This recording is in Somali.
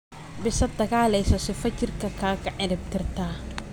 Bisat daagaleyso sifaa jirka kakaciribtirtaa.